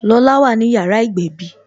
Lola wà ní yàrá ìgbẹ̀bí